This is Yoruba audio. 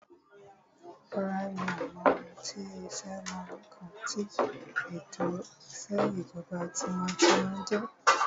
Rárá, mi ò mọ ohun tí sé o mọ ǹkan tí ètò ìṣèjọba tinwatinwa jẹjẹ́